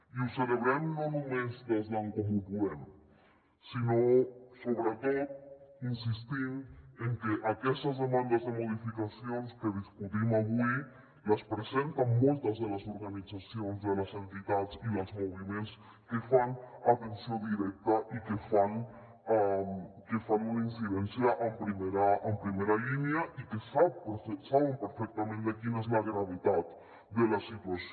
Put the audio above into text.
i ho celebrem no només des d’en comú podem sinó sobretot insistint en que aquestes demandes de modificacions que discutim avui les presenten moltes de les organitzacions de les entitats i dels moviments que fan atenció directa i que fan una incidència en primera línia i que saben perfectament quina és la gravetat de la situació